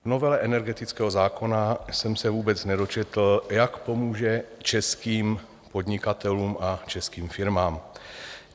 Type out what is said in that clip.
V novele energetického zákona jsem se vůbec nedočetl, jak pomůžete českým podnikatelům a českým firmám.